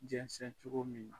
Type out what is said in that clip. Jɛnsɛ cogo min na